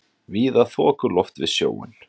Víða þokuloft við sjóinn